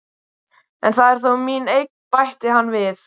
En það er þó mín eign, bætti hann við.